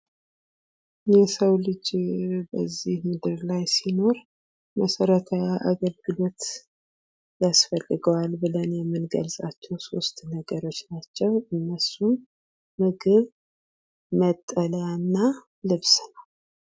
የሰው ልጅ ከዚህ ምድር ላይ ሲኖር መሰረታዊ አገልግሎት ያስፈልገዋል ብለን የምንገልፃቸው ሶስት ነገሮች ናቸው። እነሱም፦ ምግብ፣ መጠለያ እና ልብስ ነው።